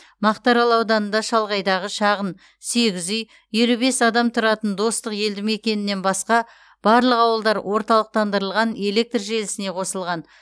мақтаарал ауданында шалғайдағы шағын сегіз үй елу бес адам тұратын достық елдімекенінен басқа барлық ауылдар орталықтандырылған электр желісіне қосылған